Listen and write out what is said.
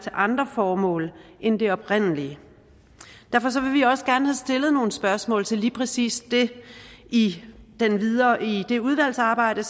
andre formål end det oprindelige derfor vil vi også gerne have stillet nogle spørgsmål til lige præcis det i det udvalgsarbejde